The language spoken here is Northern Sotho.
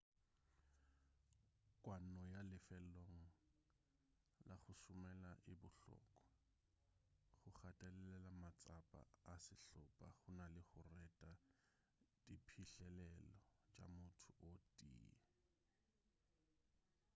kwano ya lefelong la go šomela e bohlokwa go gatelela matsapa a sehlopa go na le go reta diphihlelelo tša motho o tee